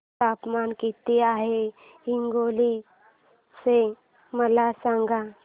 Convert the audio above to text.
तापमान किती आहे हिंगोली चे मला सांगा